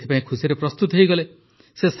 ସେ ଏଥିପାଇଁ ଖୁସିରେ ପ୍ରସ୍ତୁତ ହୋଇଗଲେ